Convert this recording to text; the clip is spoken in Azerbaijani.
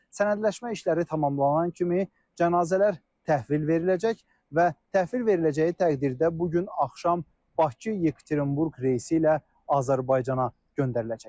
Sənədləşmə işləri tamamlanan kimi cənazələr təhvil veriləcək və təhvil veriləcəyi təqdirdə bu gün axşam Bakı-Yekaterinburq reysi ilə Azərbaycana göndəriləcək.